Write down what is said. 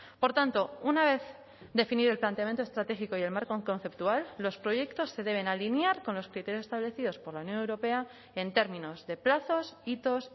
por tanto una vez definido el planteamiento estratégico y el marco conceptual los proyectos se deben alinear con los criterios establecidos por la unión europea en términos de plazos hitos